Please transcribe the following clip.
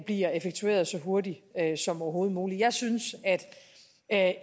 bliver effektueret så hurtigt som overhovedet muligt jeg synes at